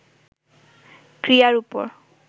ক্রিয়ার উপর